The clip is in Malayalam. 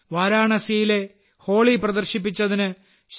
വാരണാസിയിലെ ഹോളി പ്രദർശിപ്പിച്ചതിന് ശ്രീ